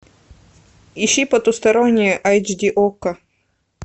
ищи потустороннее айч ди окко